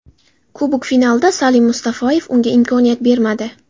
Kubok finalida Salim Mustafoyev unga imkoniyat bermadi.